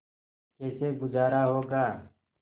कैसे गुजारा होगा